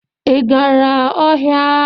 Ị gara ọhịa?